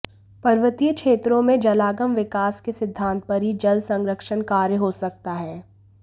पर्वतीय क्षेत्रों में जलागम विकास के सिद्धांत पर ही जल संरक्षण कार्य हो सकता है